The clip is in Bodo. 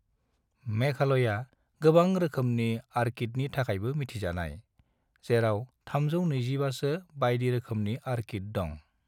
मेघालया गोबां रोखोमनि ऑर्किडनि थाखायबो मिथिजानाय, जेराव 325 सो बायदिरोखोमनिऑर्किड दं।